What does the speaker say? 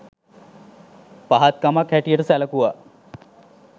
පහත් කමක් හැටියට සැලකුවා